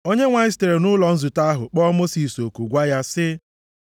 Onyenwe anyị sitere nʼụlọ nzute ahụ kpọ Mosis oku, gwa ya sị,